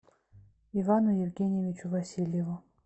ивану евгеньевичу васильеву